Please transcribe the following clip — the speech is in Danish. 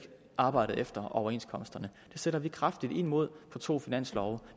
arbejdede efter overenskomsterne det sætter vi kraftigt ind mod i to finanslove